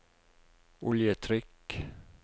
oljetrykk